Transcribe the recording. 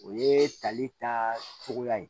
O ye tali taa cogoya ye